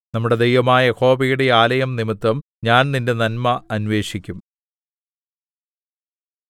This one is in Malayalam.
നമ്മുടെ ദൈവമായ യഹോവയുടെ ആലയംനിമിത്തം ഞാൻ നിന്റെ നന്മ അന്വേഷിക്കും